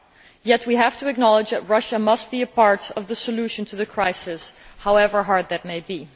Yet we have to acknowledge that Russia must be a part of the solution to the crisis, however hard that may be.